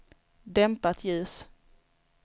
dämpat ljus